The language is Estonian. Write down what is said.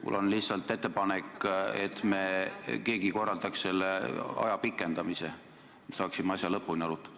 Mul on lihtsalt ettepanek, et keegi korraldaks selle aja pikendamise, ja me saaksime asja lõpuni arutada.